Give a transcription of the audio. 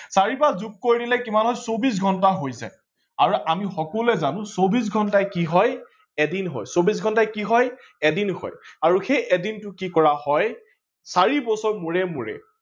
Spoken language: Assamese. চাৰি বাৰ যোগ কৰি দিলে কিমান হয় চৌবিশ ঘণ্টা হৈ যায় আৰু আমি সকলোৱে জানো চৌবিশ ঘণ্টায়ে কি হয় এদিন হয়, চৌবিশ ঘণ্টায়ে কি হয় এদিন হয় আৰু সেই এদিনটো কি কৰা হয় চাৰি বছৰ মুৰে মুৰে